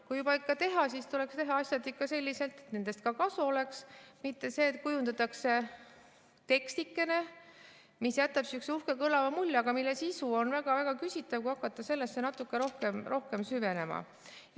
Kui juba teha, siis tuleks teha asjad selliselt, et nendest ka kasu oleks, mitte et kujundatakse tekstikene, mis jätab sihukese uhke kõlava mulje, aga mille sisu on väga-väga küsitav, kui hakata sellesse natuke rohkem süvenema.